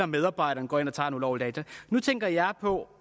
medarbejdere går ind og tager data ulovligt nu tænker jeg på